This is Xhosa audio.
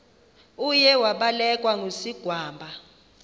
uye wabelekwa ngusigwamba